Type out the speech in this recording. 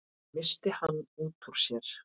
missti hann út úr sér.